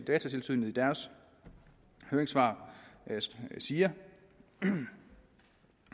datatilsynet i deres høringssvar siger